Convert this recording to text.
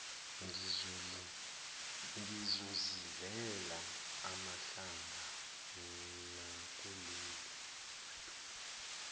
ngizozidlela amahlanga nakuleli